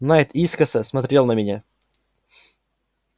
найд искоса смотрел на меня